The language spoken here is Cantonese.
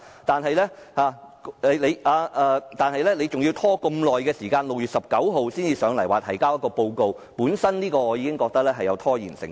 但是，當局還要拖延這麼久，待至6月19日才前來提交報告，我認為此舉本身已有拖延成分。